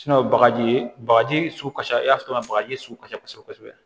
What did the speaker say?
bagaji bagaji sugu ka ca i y'a sɔrɔ bagaji sugu ka ca kosɛbɛ kosɛbɛ